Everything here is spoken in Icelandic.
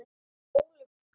Ólöf Inga.